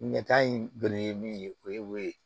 Ɲɛta in donni ye min ye o ye wo ye